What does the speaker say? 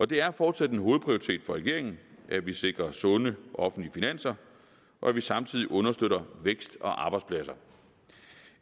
det er fortsat en hovedprioritet for regeringen at vi sikrer sunde offentlige finanser og at vi samtidig understøtter vækst og arbejdspladser